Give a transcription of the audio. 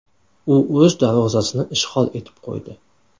U o‘z darvozasini ishg‘ol etib qo‘ydi.